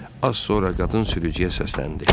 Az sonra qadın sürücüyə səsləndi.